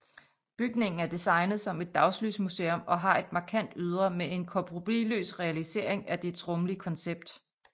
Bygningen er designet som et dagslysmuseum og har et markant ydre med en kompromisløs realisering af dets rumlige koncept